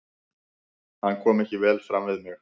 Hann kom ekki vel fram við mig.